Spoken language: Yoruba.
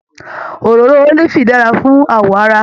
Òróró ólífì dára fún awọ ara.